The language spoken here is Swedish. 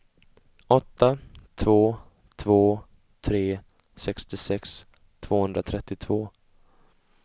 åtta två två tre sextiosex tvåhundratrettiotvå